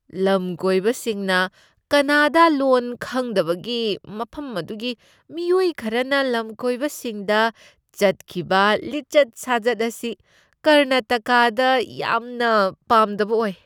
ꯂꯝꯀꯣꯏꯕꯁꯤꯡꯅ ꯀꯅꯥꯗꯥ ꯂꯣꯟ ꯈꯪꯗꯕꯒꯤ ꯃꯐꯝ ꯑꯗꯨꯒꯤ ꯃꯤꯑꯣꯏ ꯈꯔꯅ ꯂꯝꯀꯣꯏꯕꯁꯤꯡꯗ ꯆꯠꯈꯤꯕ ꯂꯤꯆꯠ ꯁꯥꯖꯠ ꯑꯁꯤ ꯀꯔꯅꯥꯇꯀꯥꯗ ꯌꯥꯝꯅ ꯄꯥꯝꯗꯕ ꯑꯣꯏ꯫